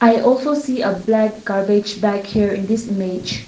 i also see a black garbage bag here in this image.